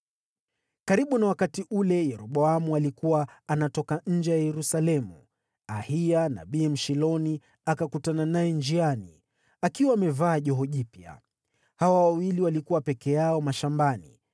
Karibu na wakati ule Yeroboamu alikuwa anatoka nje ya Yerusalemu, Ahiya nabii Mshiloni akakutana naye njiani, akiwa amevaa joho jipya. Hawa wawili walikuwa peke yao mashambani,